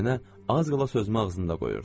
Amma nənə az qala sözümü ağzında qoyurdu.